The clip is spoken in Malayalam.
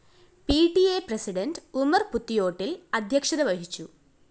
P T A president Umar‍ പുതിയോട്ടില്‍ അധ്യക്ഷത വഹിച്ചു